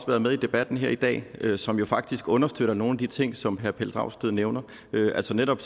været med i debatten her i dag som jo faktisk understøtter nogle af de ting som herre pelle dragsted nævner altså netop